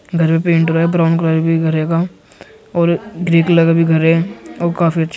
घर में पेन्ट हुआ है ब्राउन कलर और ग्रे कलर का भी घर है और काफी अच्छी